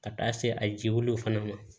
Ka taa se a jiwliluw fana ma